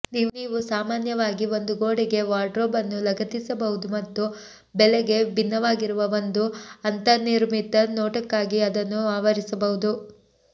ನೀವು ಸಾಮಾನ್ಯವಾಗಿ ಒಂದು ಗೋಡೆಗೆ ವಾರ್ಡ್ರೋಬ್ ಅನ್ನು ಲಗತ್ತಿಸಬಹುದು ಮತ್ತು ಬೆಲೆಗೆ ಭಿನ್ನವಾಗಿರುವ ಒಂದು ಅಂತರ್ನಿರ್ಮಿತ ನೋಟಕ್ಕಾಗಿ ಅದನ್ನು ಆವರಿಸಬಹುದು